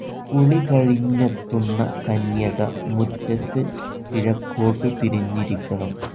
കുളി കഴിഞ്ഞെത്തുന്ന കന്യക മുറ്റത്ത് കിഴക്കോട്ടു തിരിഞ്ഞിരിക്കണം.